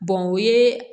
o ye